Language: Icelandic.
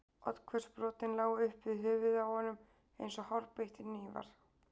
Oddhvöss brotin lágu upp við höfuðið á honum eins og hárbeittir hnífar.